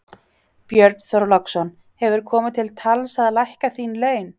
Björn Þorláksson: Hefur komið til tals að lækka þín laun?